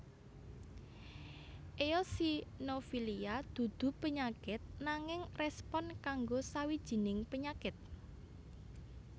Eosinofilia dudu penyakit nanging respon kanggo sawijining penyakit